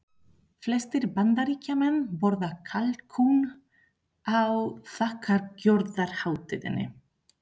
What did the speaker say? Flestir Bandaríkjamenn borða kalkún á þakkargjörðarhátíðinni.